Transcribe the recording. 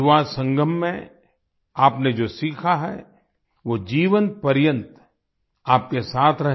युवा संगम में आपने जो सीखा है वो जीवनपर्यंत आपके साथ रहे